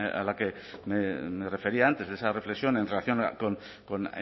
a la que me refería antes esa reflexión en relación con